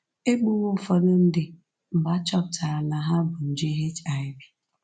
E gbuwo ụfọdụ ndị mgbe a chọpụtara na ha bu nje HIV